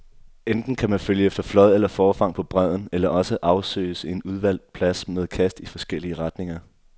Enten kan man følge efter flåd eller forfang på bredden, eller også afsøges en udvalgt plads med kast i forskellige retninger.